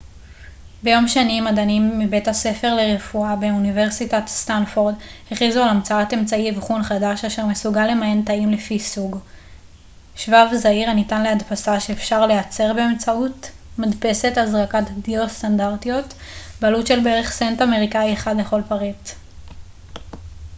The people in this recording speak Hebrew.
ביום שני מדענים מבית הספר לרפואה באוניברסיטת סטנפורד הכריזו על המצאת אמצעי אבחון חדש אשר מסוגל למיין תאים לפי סוג שבב זעיר הניתן להדפסה שאפשר לייצר באמצעות מדפסות הזרקת דיו סטנדרטיות בעלות של בערך סנט אמריקאי אחד לכל פריט